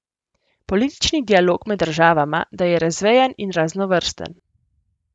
Politični dialog med državama da je razvejen in raznovrsten.